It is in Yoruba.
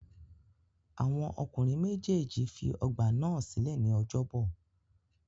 Àwọn ọkùnrin méjèèjì fi ọ̀gba náà sílẹ̀ ní ọjọ́bọ̀.